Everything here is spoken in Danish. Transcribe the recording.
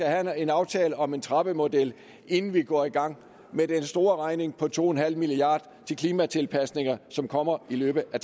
have en aftale om en trappemodel inden vi går i gang med den store regning på to milliard til klimatilpasninger som kommer i løbet af